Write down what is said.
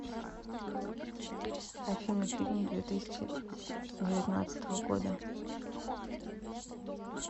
афина фильм две тысячи девятнадцатого года